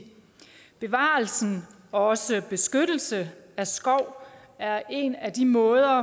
bevarelse og beskyttelse af skov er en af de måder